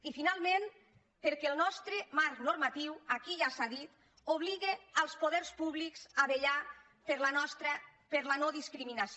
i finalment perquè el nostre marc normatiu aquí ja s’ha dit obliga els poders públics a vetllar per la nodiscriminació